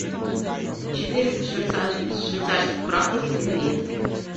четыреста швейцарских франков в тенге